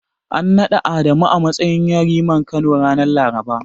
An naɗa Adamu a matsayin Yariman Kano, ranar Laraba.